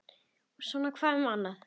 Og svona hvað um annað